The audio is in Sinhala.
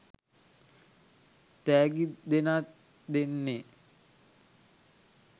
තෑගි දෙනාත් දෙන්නේ.